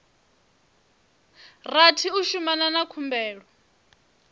rathi u shumana na khumbelo